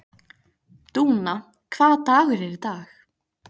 Dúna, hvaða dagur er í dag?